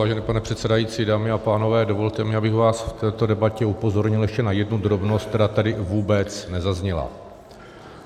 Vážený pane předsedající, dámy a pánové, dovolte mi, abych vás v této debatě upozornil ještě na jednu drobnost, která tady vůbec nezazněla.